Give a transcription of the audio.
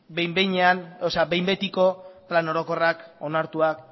behin betiko plan orokorrak onartuak